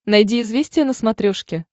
найди известия на смотрешке